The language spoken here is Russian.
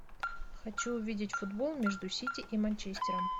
хочу увидеть футбол между сити и манчестером